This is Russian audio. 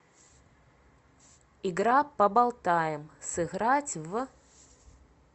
игра поболтаем сыграть в